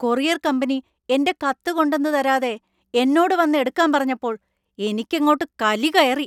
Courier company എൻ്റെ കത്ത് കൊണ്ടന്ന് തരാതെ എന്നോട് വന്ന് എടുക്കാൻ പറഞ്ഞപ്പോൾ എനിക്കങ്ങോട്ട് കലി കയറി.